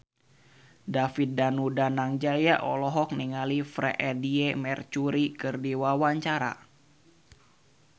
David Danu Danangjaya olohok ningali Freedie Mercury keur diwawancara